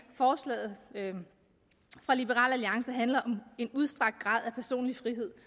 forslaget fra liberal alliance handler om en udstrakt grad af personlig frihed